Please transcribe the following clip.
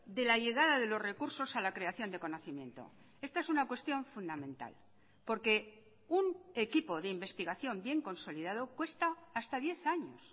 de la llegada de los recursos a la creación de conocimiento esta es una cuestión fundamental porque un equipo de investigación bien consolidado cuesta hasta diez años